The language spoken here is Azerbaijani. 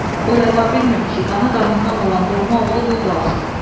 O rəva bilmirdi ki, qanı qanından olan doğma oğlu qul qalsın.